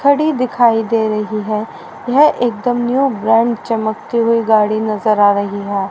घड़ी दिखाई दे रही है यह एकदम न्यू ब्रांड चमकते हुए गाड़ी नजर आ रही है।